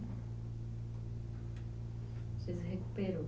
Você se recuperou?